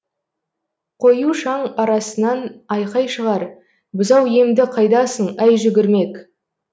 қою шаң арасынан айқай шығар бұзау емді қайдасың әй жүгірмек